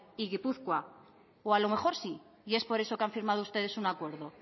y gipuzkoa o a lo mejor sí y es por eso que han firmado ustedes un acuerdo